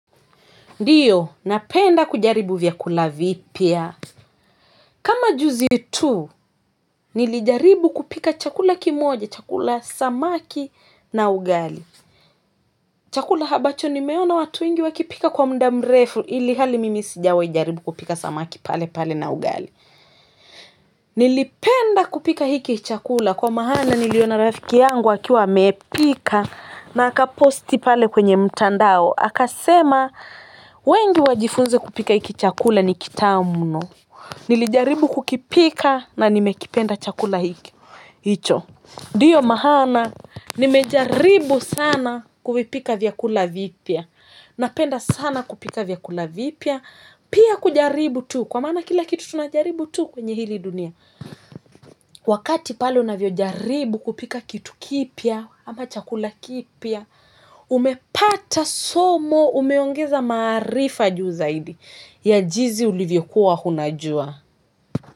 Ndio, napenda kujaribu vyakula vipya kama juzi tu, nilijaribu kupika chakula kimoja, chakula samaki na ugali. Chakula ambacho nimeona watu wengi wakipika kwa muda mrefu ilhali mimi sijawahi jaribu kupika samaki pale pale na ugali. Nilipenda kupika hiki chakula kwa maana niliona rafiki yangu akiwa amepika na akaposti pale kwenye mtandao. Akasema wengi wajifunze kupika hiki chakula ni kitamu mno. Nilijaribu kukipika na nimekipenda chakula hicho ndio maana nimejaribu sana kuvipika vyakula vipya napenda sana kupika vyakula vipya pia kujaribu tu kwa maana kila kitu tunajaribu tu kwenye hili dunia wakati pale unavyojaribu kupika kitu kipya ama chakula kipya umepata somo umeongeza maarifa juu zaidi ya jinsi ulivyokuwa unajua.